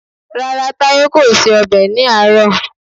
Rárá, Táyé kò se ọbẹ̀ ní àárọ̀